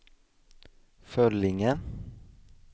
Föllinge